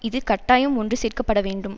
இது கட்டாயம் ஒன்று சேர்க்க பட வேண்டும்